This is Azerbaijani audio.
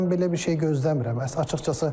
Amma mən belə bir şey gözləmirəm, açığı.